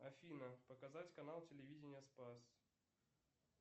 афина показать канал телевидения спас